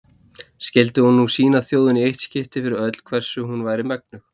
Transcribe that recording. Skyldi hún nú sýna þjóðinni í eitt skipti fyrir öll hvers hún væri megnug.